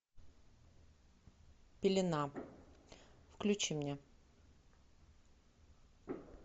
пелена включи мне